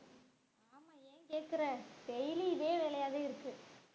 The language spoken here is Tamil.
ஏன் கேக்குற daily இதே வேலையாவே இருக்கு.